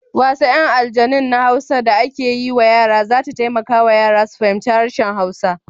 Wasan 'yan aljanun na Hausa da ake yi wa yara za ta taimaka wa yara su fahimci harshen Hausa.